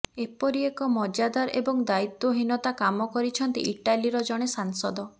ଏପରି ଏକ ମଜାଦାର ଏବଂ ଦାୟିତ୍ୱହୀନତା କାମ କରିଛନ୍ତି ଇଟାଲୀର ଜଣେ ସାଂସଦ